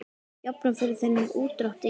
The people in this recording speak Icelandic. Jafnan fyrir þennan útdrátt er